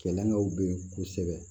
Kɛlɛkɛw bɛ ye kosɛbɛ